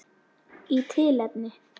Í tilefni